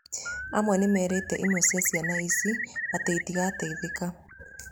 Amwe nĩmerĩte imwe cia ciana ici atĩ itigateithĩka